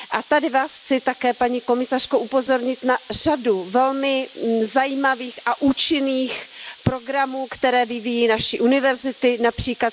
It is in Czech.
Tady Vás chci také, paní komisařko, upozornit na řadu velmi zajímavých a účinných programů, které vyvíjí naše univerzity, např.